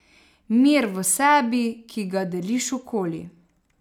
Mir v sebi, ki ga deliš okoli.